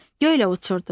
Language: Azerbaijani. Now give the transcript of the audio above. Göylə uçurdu.